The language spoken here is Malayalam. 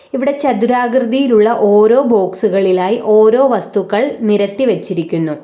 ഇവിടെ ചതുരാകൃതിയിലുള്ള ഓരോ ബോക്സുകളിലായി ഓരോ വസ്തുക്കൾ നിരത്തി വെച്ചിരിക്കുന്നു.